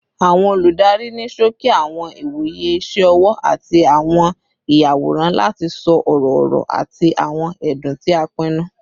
Awọn oludari ni ṣoki awọn iwoye iṣẹ ọwọ ati awọn iyaworan lati sọ ọrọ-ọrọ ati awọn ẹdun ti a pinnu